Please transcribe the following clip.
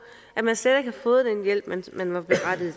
at man slet ikke har fået den hjælp man var berettiget